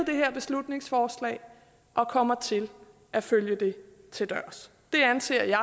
det her beslutningsforslag og kommer til at følge det til dørs det anser jeg